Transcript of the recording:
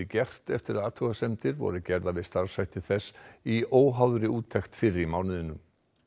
gert eftir að athugasemdir voru gerðar við starfshætti þess í óháðri úttekt fyrr í mánuðinum